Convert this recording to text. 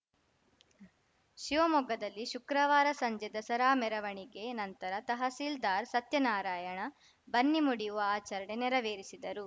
ಶಿವಮೊಗ್ಗದಲ್ಲಿ ಶುಕ್ರವಾರ ಸಂಜೆ ದಸರಾ ಮೆರವಣಿಗೆ ನಂತರ ತಹಸೀಲ್ದಾರ್‌ ಸತ್ಯನಾರಾಯಣ ಬನ್ನಿ ಮುಡಿಯುವ ಆಚರಣೆ ನೆರವೇರಿಸಿದರು